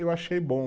Eu achei bom.